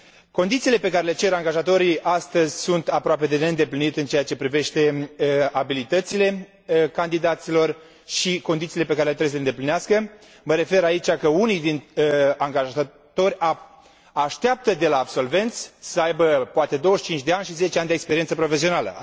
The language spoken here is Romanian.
Condițiile pe care le cer angajatorii astăzi sunt aproape de neîndeplinit în ceea ce privește abilitățile candidaților și condițiile pe care trebuie să le îndeplinească, mă refer aici că unii din angajatori așteaptă de la absolvenți să aibă poate 25 de ani și 10 ani de experiență profesională.